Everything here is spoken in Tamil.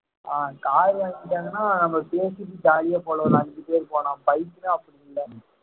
ஆஹ் car வாங்கிட்டாங்கன்னா நம்ம பேசிட்டு jolly ஆ போல ஒரு அஞ்சு பேர் போலாம் bike தான் அப்படி இல்ல